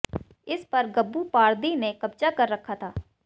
इस पर गब्बू पारदी ने कब्जा कर रखा था